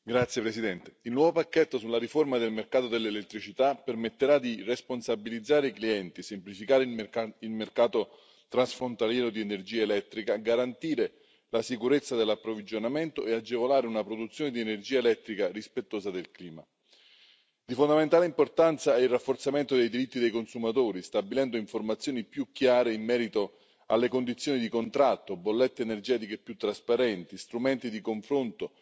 Signora Presidente, onorevoli colleghi, il nuovo pacchetto sulla riforma del mercato dell'elettricità permetterà di responsabilizzare i clienti, semplificare il mercato transfrontaliero di energia elettrica, garantire la sicurezza dell'approvvigionamento e agevolare una produzione di energia elettrica rispettosa del clima. Di fondamentale importanza è il rafforzamento dei diritti dei consumatori, stabilendo informazioni più chiare in merito alle condizioni di contratto, bollette energetiche più trasparenti, strumenti di confronto,